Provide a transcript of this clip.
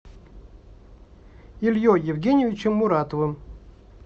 ильей евгеньевичем муратовым